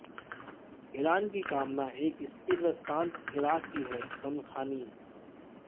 Iran की कामना एक स्थिर व शांत इराक़ की हैः शमख़ानी